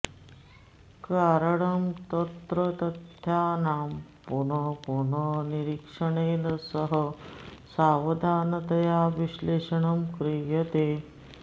कारणं तत्र तथ्यानां पुनः पुनः निरीक्षणेन सह सावधानतया विश्लेषणं क्रियते